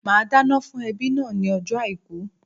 Màá dáná fún ẹbí náà ní ojó Àìkú